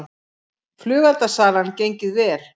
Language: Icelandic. Flugeldasalan gengið vel